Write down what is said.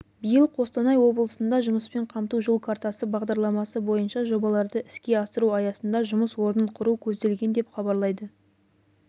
биыл қостанай облысында жұмыспен қамту жол картасы бағдарламасы бойынша жобаларды іске асыру аясында жұмыс орнын құру көзделген деп хабарлайды